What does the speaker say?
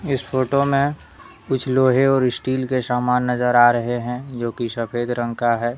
इस फोटो में कुछ लोहे और स्टील के सामान नजर आ रहे हैं जो कि सफेद रंग का है।